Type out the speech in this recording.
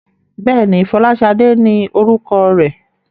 Bẹ́ẹ̀ni, Fọláṣadé ni orúkọ rẹ̀?